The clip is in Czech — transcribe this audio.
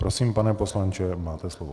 Prosím, pane poslanče, máte slovo.